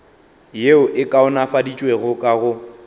yeo e kaonafaditšwego ka go